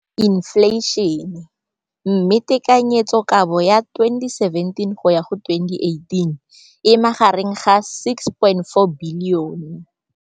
Infleišene, mme tekanyetsokabo ya 2017 go ya go 2018 e magareng ga R6.4 bilione.